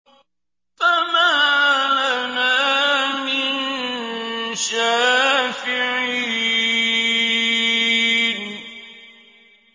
فَمَا لَنَا مِن شَافِعِينَ